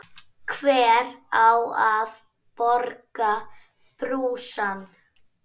Hver á að borga brúsann?